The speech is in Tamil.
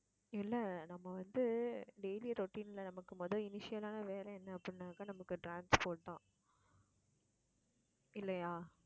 இல்ல நம்ம வந்து daily routine ல, நமக்கு முதல் ஆன வேலை என்ன அப்படின்னாக்கா நமக்கு, transport தான் இல்லையா